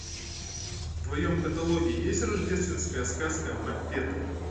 в твоем каталоге есть рождественская сказка маппетов